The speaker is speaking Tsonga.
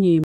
nyimpi.